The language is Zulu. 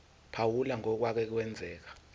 phawula ngokwake kwenzeka